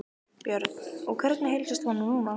Björn: Og hvernig heilsast honum núna?